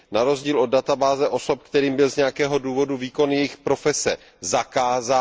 Na rozdíl od databáze osob, kterým byl z nějakého důvodu výkon jejich profese zakázán.